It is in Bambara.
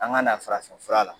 An ga na farafin fura la